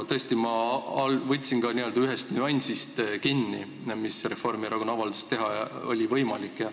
Tõesti, ma võtsin kinni ühest nüansist, mida Reformierakonna avalduse põhjal oli võimalik teha.